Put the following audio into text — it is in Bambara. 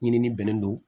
Ɲinini bɛnnen don